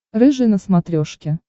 рыжий на смотрешке